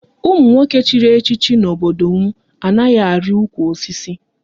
Ụmụ nwoke chịrị echichi n'obodo m anaghị ari ụkwụ osisi